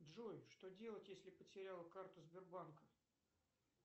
джой что делать если потерял карту сбербанка